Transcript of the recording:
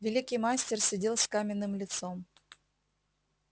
великий мастер сидел с каменным лицом